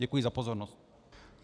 Děkuji za pozornost.